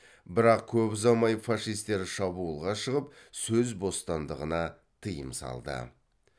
бірақ көп ұзамай фашистер шабуылға шығып сөз бостандығына тыйым салды